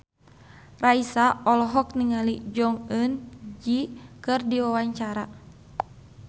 Raisa olohok ningali Jong Eun Ji keur diwawancara